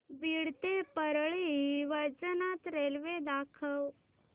बीड ते परळी वैजनाथ रेल्वे दाखव